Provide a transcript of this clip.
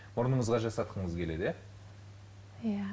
мұрныңызға жасатқыңыз келеді иә